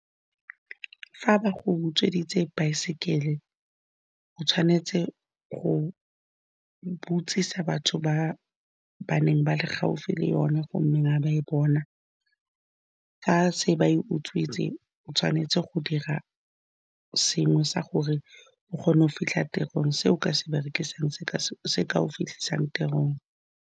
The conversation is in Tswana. Fa ba go utsweditse baesekele, go tshwanetse go botsisa batho ba ba neng ba le gaufi le yone, gonne ga ba e bona fa se ba e utswitswe. O tshwanetse go dira sengwe sa gore o kgone go fitlha tirong, se o ka se berekisang se ka, se se ka go fitlhisang tirong.